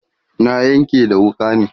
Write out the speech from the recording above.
na Yanƙe da wuƙa ne